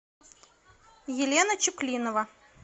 елена чуклинова